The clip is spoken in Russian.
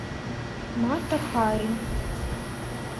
мата хари